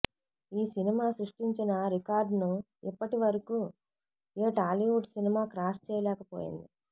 ఈ సినిమా సృష్టించిన రికార్డ్ ను ఇప్పటివరకు ఏ టాలీవుడ్ సినిమా క్రాస్ చేయలేకపోయింది